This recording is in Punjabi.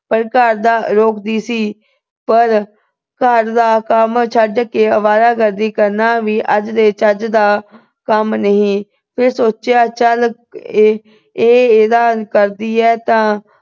ਪਰ ਘਰ ਦਾ ਅਹ ਰੋਕਦੀ ਸੀ ਪਰ ਘਰ ਦਾ ਕੰਮ ਛੱਡ ਕੇ ਅਵਾਰਾ ਗਰਦੀ ਕਰਨਾ ਵੀ ਅੱਜ ਦੇ ਚੱਜ ਦਾ ਕੰਮ ਨਹੀਂ। ਫਿਰ ਸੋਚਿਆ ਚਲ ਇਹ ਅਹ ਇਹ ਇਦਾਂ ਕਰਦੀ ਆ ਤਾਂ